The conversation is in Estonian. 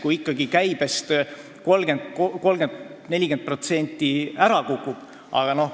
Kui ikka käibest 30–40% ära kukub ...